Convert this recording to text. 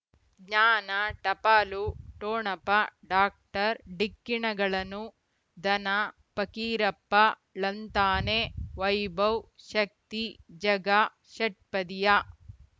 ಜ್ಞಾನ ಟಪಾಲು ಠೊಣಪ ಡಾಕ್ಟರ್ ಢಿಕ್ಕಿ ಣಗಳನು ಧನ ಫಕೀರಪ್ಪ ಳಂತಾನೆ ವೈಭವ್ ಶಕ್ತಿ ಝಗಾ ಷಟ್ಪದಿಯ